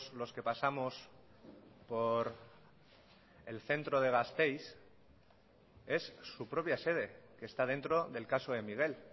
los que pasamos por el centro de gasteiz es su propia sede que está dentro del caso de miguel